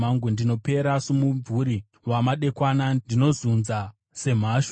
Ndinopera somumvuri wamadekwana; ndinozunzwa semhashu.